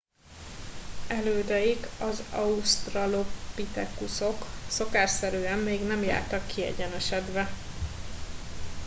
elődeik az ausztralopitekuszok szokásszerűen még nem jártak kiegyenesedve